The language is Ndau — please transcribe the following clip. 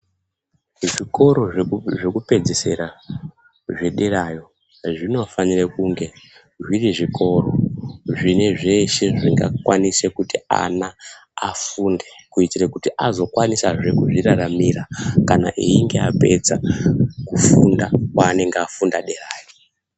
Zvikoro zveku pedzesera zve derayo zvino fanire kunge zviri zvikoro zvine zveshe zvinga kwanise kuti ana afunde ku itire kuti azo kwanise zve kuzvi raramira kana einge apedza kufunda pa anenge afunda derayo.